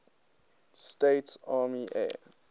states army air